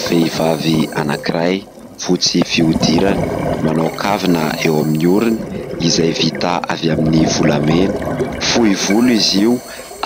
Vehivavy anakiray fotsy fihodirana, manao kavina eo amin'ny oriny izay vita avy amin'ny volamena, fohy volo izy io